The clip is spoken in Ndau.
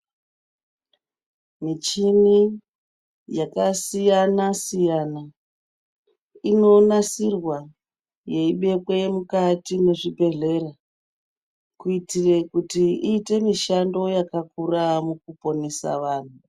Michini yakasiyana siyana inonasirwa yeibekwe mukati mwezvibhedhlera kuitire kuti iite mishando yakakura mukuponesa vanhu.